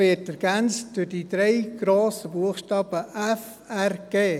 Er wird durch die drei grossen Buchstaben «FRG» ergänzt.